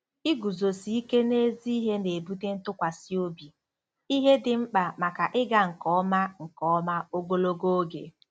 Iguzosi ike n'ezi ihe na-ebute ntụkwasị obi, ihe dị mkpa maka ịga nke ọma nke ọma ogologo oge.